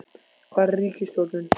hvar er ríkisstjórnin?